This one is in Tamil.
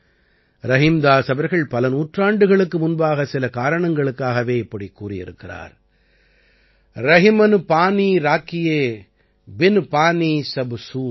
ரஹீம்தாஸ் அவர்கள் பல நூற்றாண்டுகளுக்கு முன்பாக சில காரணங்களுக்காகவே இப்படிக் கூறியிருக்கிறார் ரஹிமன் பானீ ராகியே பின் பானி ஸப் சூன்